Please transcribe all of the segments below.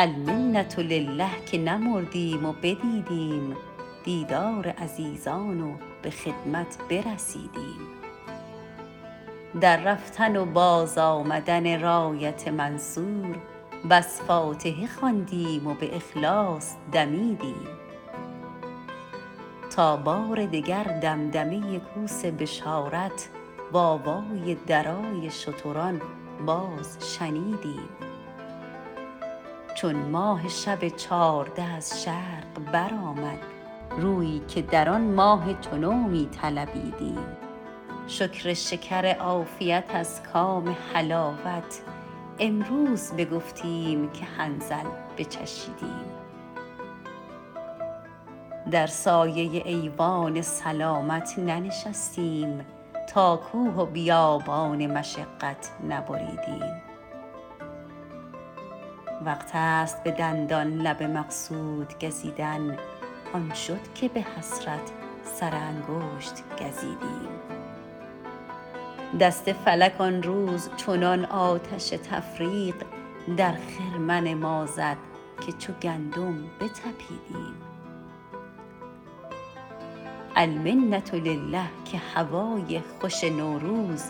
المنةلله که نمردیم و بدیدیم دیدار عزیزان و به خدمت برسیدیم در رفتن و بازآمدن رایت منصور بس فاتحه خواندیم و به اخلاص دمیدیم تا بار دگر دمدمه کوس بشارت وآوای درای شتران باز شنیدیم چون ماه شب چارده از شرق برآمد رویی که در آن ماه چو نو می طلبیدیم شکر شکر عافیت از کام حلاوت امروز بگفتیم که حنظل بچشیدیم در سایه ایوان سلامت ننشستیم تا کوه و بیابان مشقت نبریدیم وقتست به دندان لب مقصود گزیدن آن شد که به حسرت سرانگشت گزیدیم دست فلک آن روز چنان آتش تفریق در خرمن ما زد که چو گندم بتپیدیم المنةلله که هوای خوش نوروز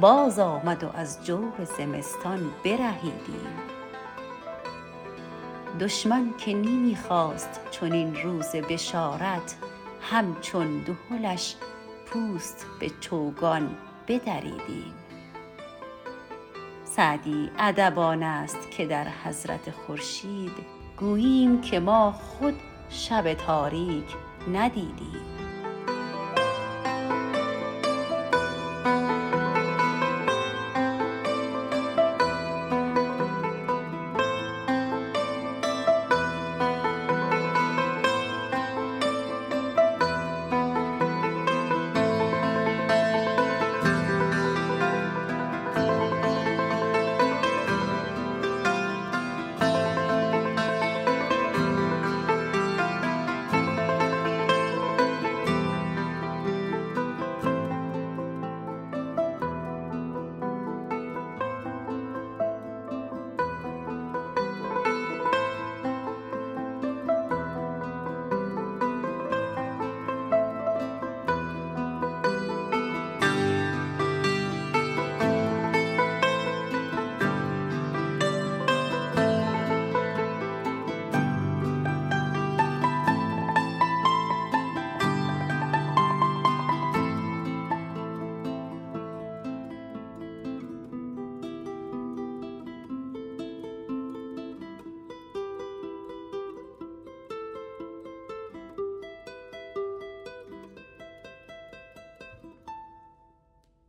باز آمد و از جور زمستان برهیدیم دشمن که نمی خواست چنین روز بشارت همچون دهلش پوست به چوگان بدریدیم سعدی ادب آنست که در حضرت خورشید گوییم که ما خود شب تاریک ندیدیم